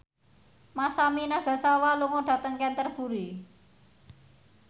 Masami Nagasawa lunga dhateng Canterbury